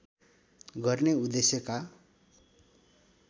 गर्ने उद्देश्यका